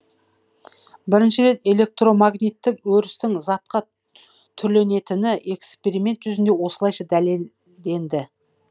бірінші рет электромагниттік өрістің затқа түрленетіні эксперимент жүзінде осылайша дәлелденді